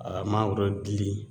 A mago bɛ dili